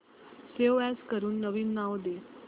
save as करून नवीन नाव दे